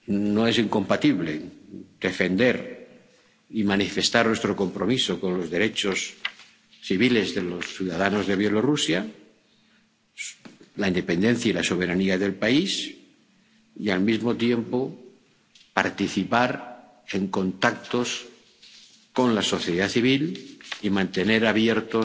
No es incompatible defender y manifestar nuestro compromiso con los derechos civiles de los ciudadanos de Bielorrusia, la independencia y la soberanía del país y, al mismo tiempo, participar en contactos con la sociedad civil y mantener abiertos